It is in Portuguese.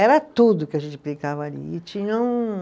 Era tudo que a gente brincava ali, e tinha um